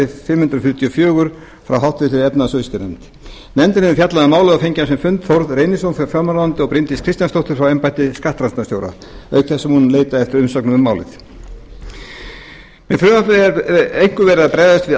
fimm hundruð fjörutíu og fjórir frá háttvirtri efnahags og viðskiptanefnd nefndin hefur fjallað um málið og fengið á sinn fund þórð reynisson frá fjármálaráðuneyti og bryndísi kristjánsdóttur frá embætti skattrannsóknarstjóra ríkisins auk þess sem hún leitað eftir umsögnum um málið með frumvarpinu er einkum verið að bregðast við